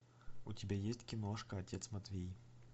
у тебя есть киношка отец матвей